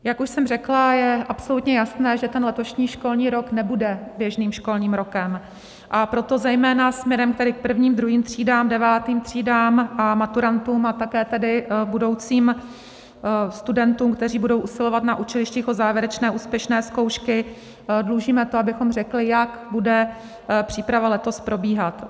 Jak už jsem řekla, je absolutně jasné, že ten letošní školní rok nebude běžným školním rokem, a proto zejména směrem tedy prvním, druhým třídám, devátým třídám a maturantům a také tedy budoucím studentům, kteří budou usilovat na učilištích o závěrečné úspěšné zkoušky, dlužíme to, abychom řekli, jak bude příprava letos probíhat.